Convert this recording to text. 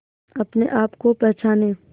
अपने आप को पहचाने